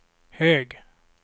hög